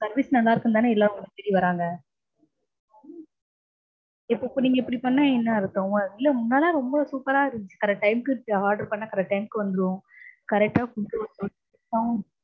service நல்லா இருக்குன்னுதான எல்லாரும் உங்கள தேடி வர்ராங்க. இப்போ இப்படி பண்ணா என்ன அர்த்தம்? இல்ல முன்னலாம் ரொம்ப super ஆ இருந்துச்சு. correct time க்கு order பண்ணா correct time க்கு வந்துரும். correct டா கொடுத்து விடுவாங்க.